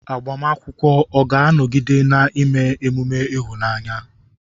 Agbamakwụkwọ ọ̀ ga-anọgide na-eme emume ịhụnanya?